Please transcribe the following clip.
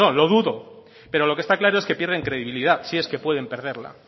lo dudo pero lo que está claro es que pierden credibilidad si es que pueden perderla